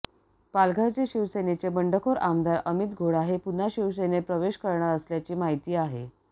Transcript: पालघरचे शिवसेनेचे बंडखोर आमदार अमित घोडा हे पुन्हा शिवसेनेत प्रवेश करणार असल्याची माहिती आहे